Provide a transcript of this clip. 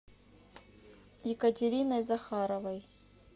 екатериной захаровой